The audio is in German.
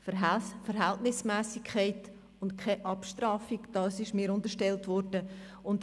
Ich will Verhältnismässigkeit, und keine Abstrafung, wie mir unterstellt worden ist.